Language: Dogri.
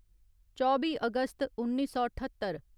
चौबी अगस्त उन्नी सौ ठत्तर